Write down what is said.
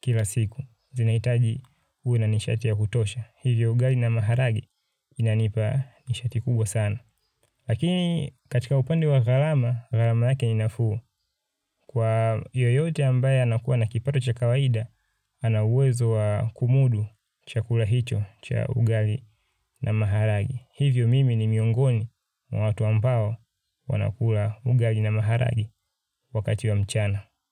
kila siku. Zinahitaji uwe na nishati ya kutosha. Hivyo ugali na maharage inanipa nishati kubwa sana. Lakini katika upande wa gharama, gharama lake ni nafuu. Kwa yoyote ambaye anakuwa na kipato cha kawaida ana uwezo wa kumudu chakula hicho cha ugali na maharage. Hivyo mimi ni miongoni mwa watu ambao wanakula ugali na maharage wakati wa mchana.